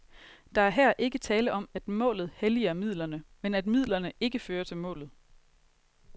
Der er her ikke tale om, at målet helliger midlerne, men at midlerne ikke fører til målet.